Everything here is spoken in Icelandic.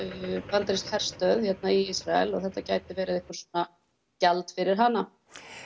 bandarísk herstöð í Ísrael og þetta gæti verið eitthvað svona gjald fyrir hana